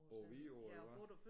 På Vidå eller hvad